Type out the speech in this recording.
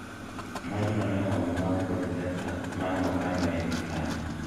maj no ne owang'o mawndu kod pesa mane okano e iye kanyo